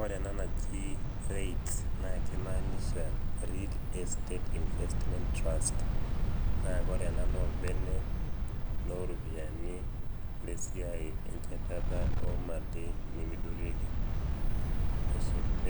ore ena naji REITS naa kimaanisha real estates investments trust naa ore ena naa orbene looropiyiani lesiai enchatat omali nemeidurieki.